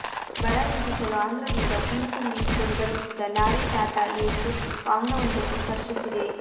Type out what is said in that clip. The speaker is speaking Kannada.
ಬರ ನೀಗಿಸಲು ಆಂಧ್ರದಿಂದ ಹುಲ್ಲು ತುಂಬಿಸಿಕೊಂಡು ಬರುತ್ತಿದ್ದ ಲಾರಿ ಟಾಟಾ ಏಸ್ ವಾಹನವೊಂದಕ್ಕೆ ಸ್ಪರ್ಶಿಸಿದೆ